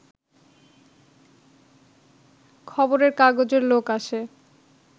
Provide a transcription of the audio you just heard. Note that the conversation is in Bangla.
খবরের কাগজের লোক আসে